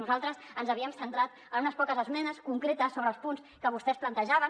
nosaltres ens havíem centrat en unes poques esmenes concretes sobre els punts que vostès plantejaven